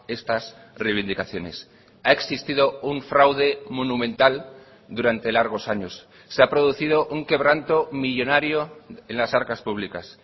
estas reivindicaciones ha existido un fraude monumental durante largos años se ha producido un quebranto millónario en las arcas públicas